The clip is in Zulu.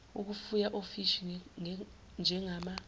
ukufuya ofishi njengama